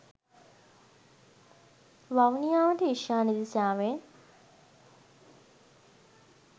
වවුනියාවට ඊශාන දිශාවෙන්